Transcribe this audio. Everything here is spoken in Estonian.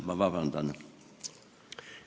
Palun vabandust!